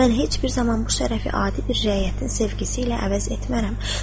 Mən heç bir zaman bu şərəfi adi bir rəiyyətin sevgisi ilə əvəz etmərəm.